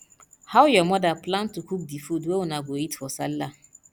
how your mother plan to cook di food wey una go eat for sallah